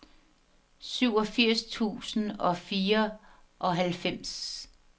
syvogfirs tusind og fireoghalvfems